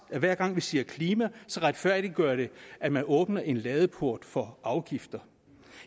at hver gang vi siger klima retfærdiggør det at man åbner en ladeport for afgifter